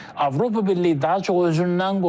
Avropa Birliyi daha çox özündən qorxur.